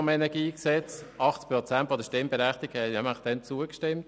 so viele haben damals nämlich zugestimmt.